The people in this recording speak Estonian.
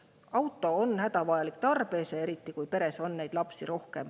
Auto on hädavajalik tarbeese, eriti kui peres on rohkem lapsi.